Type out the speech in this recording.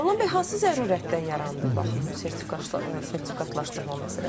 Nurlan bəy, hansı zərurətdən yarandı baxın bu sertifikatlaşdırma məsələsi?